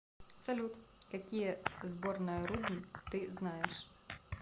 салют какие сборная рудн ты знаешь